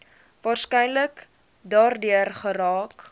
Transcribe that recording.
waarskynlik daardeur geraak